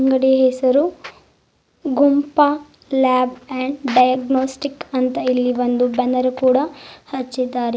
ಅಂಗಡಿಯ ಹೆಸರು Gumpa lab and diagnostic ಅಂತ ಇಲ್ಲಿ ಒಂದು ಬ್ಯಾನರ್ ಕೂಡ ಹಚ್ಚಿದ್ದಾರೆ.